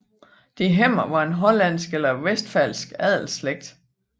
de Hemmer var en hollandsk eller westfalsk adelsslægt